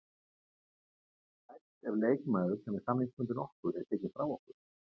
Getum við kært ef leikmaður sem er samningsbundinn okkur er tekinn frá okkur?